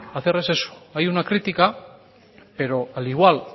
hacer es eso hay una crítica pero al igual